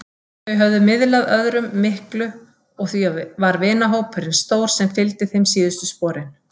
Þau höfðu miðlað öðrum miklu og því var vinahópurinn stór sem fylgdi þeim síðustu sporin.